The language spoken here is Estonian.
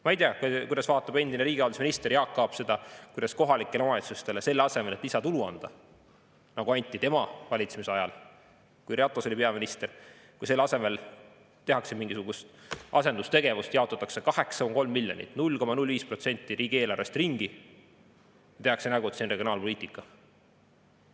Ma ei tea, kuidas vaatab endine riigihalduse minister Jaak Aab seda, kuidas kohalikele omavalitsustele selle asemel, et lisatulu anda, nagu anti tema valitsemise ajal, kui Jüri Ratas oli peaminister, tehakse mingisugust asendustegevust, jaotatakse 8,3 miljonit, 0,05% riigieelarvest ringi ja tehakse nägu, et see on regionaalpoliitika.